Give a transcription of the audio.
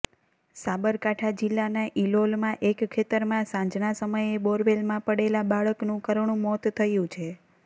સાબરકાંઠા જિલ્લાના ઈલોલમાં એક ખેતરમાં સાંજના સમયે બોરવેલમાં પડેલા બાળકનું કરૂણ મોત થયુ છે